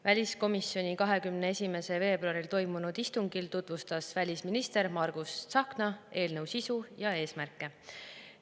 Väliskomisjoni 21. veebruaril toimunud istungil tutvustas välisminister Margus Tsahkna eelnõu sisu ja eesmärke.